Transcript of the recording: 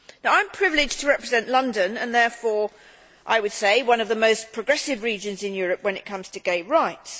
I am privileged to represent London, and therefore I would say one of the most progressive regions in Europe when it comes to gay rights.